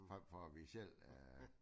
For for vi selv øh